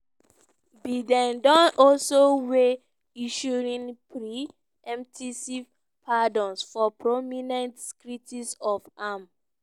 biden don also weigh issuing pre-emptive pardons for prominent critics of im